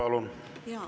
Margit Sutrop, palun!